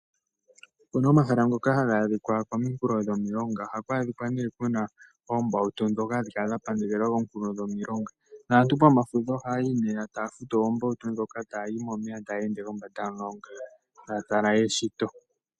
Opuna omahala ngoka haga adhikwa komihulo dhomilonga. Ohaku adhika ne kuna ombautu dhoka hadhi kala dha pandekelwa komihulo dhomiilonga. Aantu pomafudho oha yayi ne, taya futu oombautu dhoka, ta yayi momeya taya ende kombanda yomulonga, taya tala eshito.